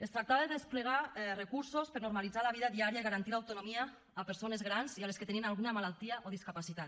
es tractava de desplegar recursos per normalitzar la vida diària i garantir l’autonomia a persones grans i a les que tenien alguna malaltia o discapacitat